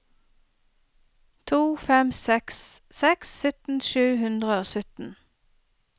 to fem seks seks sytten sju hundre og sytten